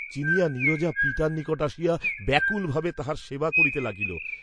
চিনিয়া নীরজা পিতার নিকট আসিয়া ব্যাকুলভাবে তাঁহার সেবা করিতে লাগিল।